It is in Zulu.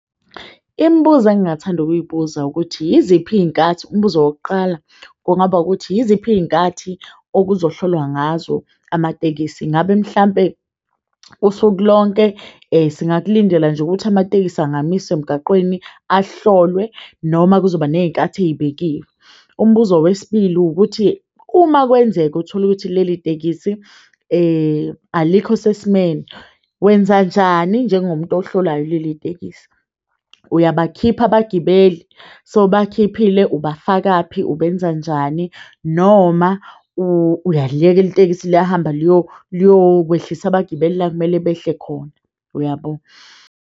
Imibuzo engingathanda ukubuza ukuthi yiziphi iyinkathi umbuzo wokuqala kungaba ukuthi yiziphi iyinkathi okuzohlolwa ngazo amatekisi. Ngabe mhlampe usuku lonke singakulindela nje ukuthi amatekisi angamiswa emgaqweni ahlolwe noma kuzoba neyinkathi eyibekiwe. Umbuzo wesibili ukuthi uma kwenzeka utholukuthi leli tekisi alikho sesimeni, wenzanjani njengomuntu ohlolayo leli tekisi uyabakhipha abagibeli, sowubakukhiphile, ubafakaphi ubenza njani noma uyaliyeka leli tekisi liyahamba liyo kwehlisa abagibeli la kumele behle khona uyabo.